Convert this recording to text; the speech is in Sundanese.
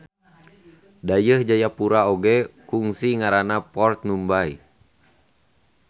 Dayeuh Jayapura oge kungsi ngaranna Port Numbay.